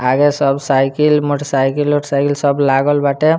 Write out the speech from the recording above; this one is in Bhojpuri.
आगे सब साईकिल मोटर साइकिल - ओटर साइकिल सब लागल बाटे।